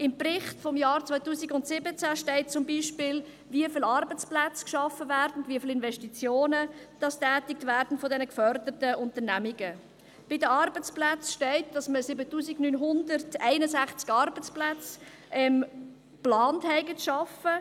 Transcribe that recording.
Im Bericht des Jahres 2017 steht zum Beispiel, wie viele Arbeitsplätze geschaffen werden, wie viele Investitionen von diesen geförderten Unternehmungen getätigt werden.